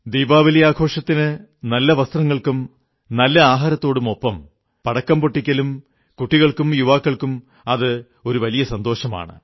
ദീപാവലി ആഘോഷത്തിന് നല്ല വസ്ത്രങ്ങൾക്കും നല്ല ആഹാരത്തോടുമൊപ്പം പടക്കം പൊട്ടിക്കലും കുട്ടികൾക്കും യുവാക്കൾക്കും അതു വലിയ സന്തോഷമാണ്